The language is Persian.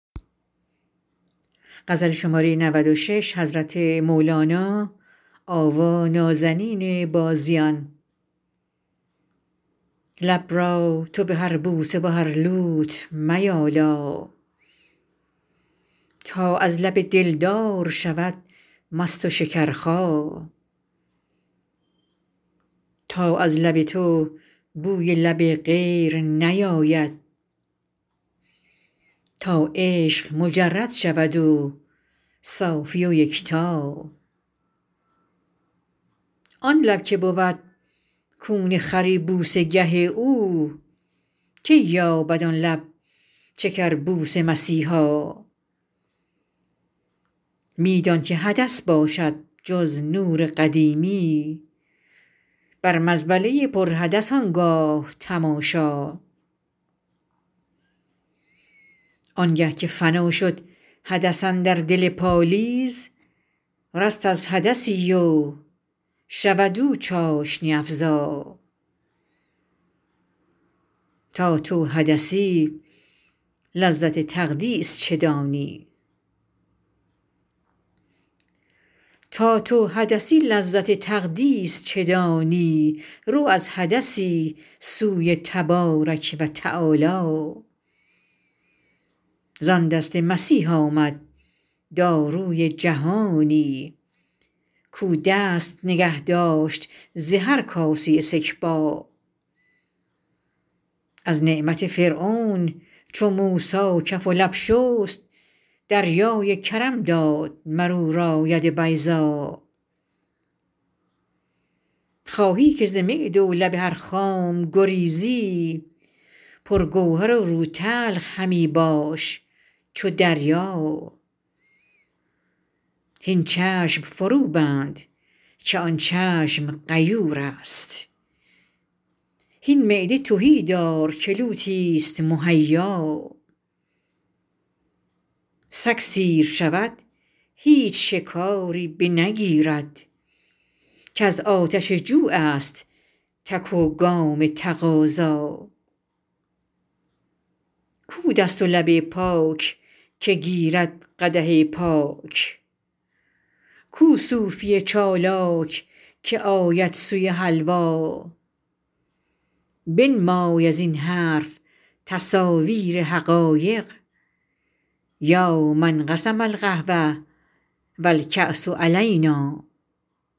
لب را تو به هر بوسه و هر لوت میالا تا از لب دلدار شود مست و شکرخا تا از لب تو بوی لب غیر نیاید تا عشق مجرد شود و صافی و یکتا آن لب که بود کون خری بوسه گه او کی یابد آن لب شکر بوس مسیحا می دان که حدث باشد جز نور قدیمی بر مزبله ی پر حدث آن گاه تماشا آنگه که فنا شد حدث اندر دل پالیز رست از حدثی و شود او چاشنی افزا تا تو حدثی لذت تقدیس چه دانی رو از حدثی سوی تبارک و تعالی زان دست مسیح آمد داروی جهانی کاو دست نگه داشت ز هر کاسه سکبا از نعمت فرعون چو موسی کف و لب شست دریای کرم داد مر او را ید بیضا خواهی که ز معده و لب هر خام گریزی پرگوهر و روتلخ همی باش چو دریا هین چشم فروبند که آن چشم غیورست هین معده تهی دار که لوتی ست مهیا سگ سیر شود هیچ شکاری بنگیرد کز آتش جوعست تک و گام تقاضا کو دست و لب پاک که گیرد قدح پاک کو صوفی چالاک که آید سوی حلوا بنمای از این حرف تصاویر حقایق یا من قسم القهوة و الکأس علینا